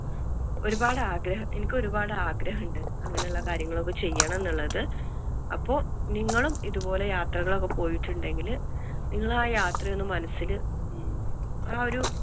ഒരുപാട് ആഗ്രഹം എനിക്ക് ഒരുപാട് ആഗ്രഹം ഉണ്ട് അങ്ങനെ ഉള്ള കാര്യങ്ങൾ ഒക്കെ ചെയ്യണം എന്നുള്ളത്. അപ്പൊ നിങ്ങളും ഇതുപോലെ യാത്രകൾ ഒക്കെ പോയിട്ടുണ്ടെങ്കിൽ നിങ്ങൾ ആ യാത്ര ഒന്ന് മനസ്സില് ഉം ആ ഒരു